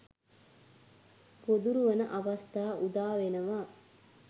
ගොදුරු වන අවස්ථා උදාවෙනවා.